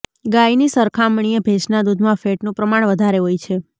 ગાયની સરખામણીએ ભેંસના દૂધમાં ફૅટનું પ્રમાણ વધારે હોય છે